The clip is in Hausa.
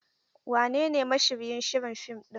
Wanene mashiryin shirin fim ɗin?